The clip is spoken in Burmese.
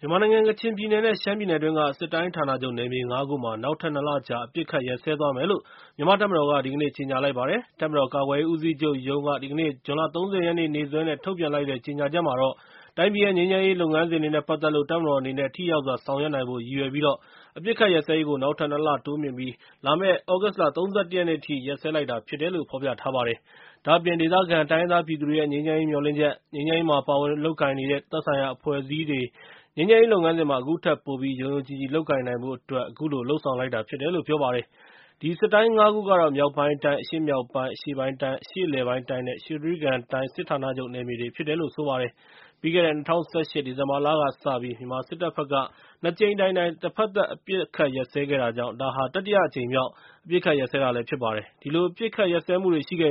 မြန်မာနိုင်ငံ ကချင်ပြည်နယ် နဲ့ ရှမ်းပြည်နယ်တွင်းက စစ်တိုင်းဌာနချုပ် ၅ ခုမှာ နောက်ထပ် ၂ လ ကြာ အပစ်အခတ်ရပ်စဲသွားမယ်လို့ မြန်မာ့တပ်မတော်က ဒီကနေ့ ကြေညာလိုက်ပါတယ်။ တပ်မတော်ကာကွယ်ရေးဦးစီးချုပ်ရုံးက ဒီကနေ့ ဇွန်လ ၃၀ ရက်နေ့စွဲနဲ့ ထုတ်ပြန် လိုက်တဲ့ကြေညာချက်မှာတော့ တိုင်းပြည်ရဲ့ ငြိမ်းချမ်းရေးလုပ်ငန်းစဉ်တွေ နဲ့ ပတ်သက်လို့ တပ်မတော်အနေနဲ့ ထိရောက်စွာ ဆောင်ရွက်နိုင်ဖို့ ရည်ရွယ်ပြီး အပစ်အခတ်ရပ်စဲရေးကို နောက်ထပ် ၂ လ တိုးမြှင့်ပြီး လာမယ့် သြဂုတ်လ ၃၁ ရက်နေ့အထိ ရပ်စဲ လိုက်တာ ဖြစ်တယ်လို့ ဖော်ပြထားပါတယ်။ ဒါ့အပြင် ဒေသခံတိုင်းရင်းသားပြည်သူတွေရဲ့ ငြိမ်းချမ်းရေး မျှော်လင့်ချက်၊ ငြိမ်းချမ်းရေးမှာပါဝင် လုပ်ကိုင်နေတဲ့ သက်ဆိုင်ရာအဖွဲ့အစည်းတွေ ငြိမ်းချမ်းရေး လုပ်ငန်းစဉ်မှာ အခုထက်ပိုပြီး ယုံယုံကြည်ကြည် လုပ်ကိုင်နိုင်ဖို့အတွက် အခုလို လုပ်ဆောင်လိုက်တာဖြစ်တယ်လို့ ပြောပါတယ်။ အဲဒီ စစ်တိုင်း ၅ ခုကတော့ မြောက်ပိုင်းတိုင်း၊ အရှေ့မြောက်ပိုင်း၊ အရှေ့ပိုင်းတိုင်း၊ အရှေ့အလယ်ပိုင်းတိုင်း နဲ့ ရွှေတြိဂံတိုင်း စစ်ဌာနချုပ် နယ်မြေတွေဖြစ်ပါတယ်။ ပြီးခဲ့တဲ့ ၂၀၁၈ ဒီဇင်ဘာလကစပြီး မြန်မာစစ်တပ်ဘက်က ၂ ကြိမ် တိုင်တိုင် တဘက်သက် အပစ်ရပ်ခဲ့တာကြောင့် ဒါဟာ တတိယအကြိမ်မြောက် အပစ်အခတ်ရပ်စဲ တာဖြစ်ပါတယ်။ အဲဒီလို အပစ်အခတ်ရပ်စဲခဲ့ပေမယ့်လည်း ရှမ်းပြည်န